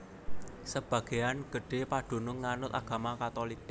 Sebagéan gedhé padunung nganut agama Katulik